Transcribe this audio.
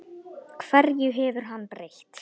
Hverju hefur hann breytt?